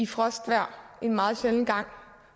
frostvejr en meget sjælden gang